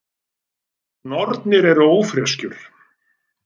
Nornir eru ófreskjur.